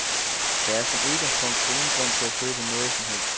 Der er som udgangspunkt ingen grund til at købe noget som helst.